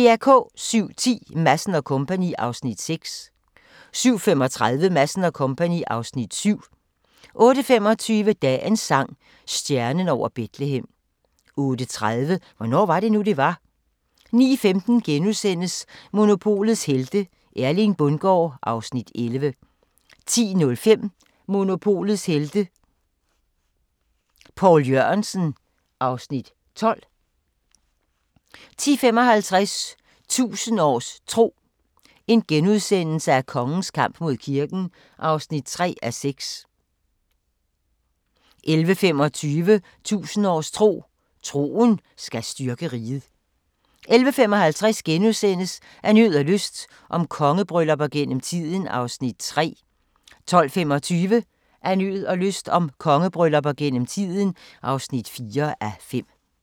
07:10: Madsen & Co. (Afs. 6) 07:35: Madsen & Co. (Afs. 7) 08:25: Dagens sang: Stjernen over Betlehem 08:30: Hvornår var det nu, det var? 09:15: Monopolets helte - Erling Bundgaard (Afs. 11)* 10:05: Monopolets Helte – Poul Jørgensen (Afs. 12) 10:55: 1000 års tro: Kongens kamp mod kirken (3:6)* 11:25: 1000 års tro: Troen skal styrke riget 11:55: Af nød og lyst – om kongebryllupper gennem tiden (3:5)* 12:25: Af nød og lyst – om kongebryllupper gennem tiden (4:5)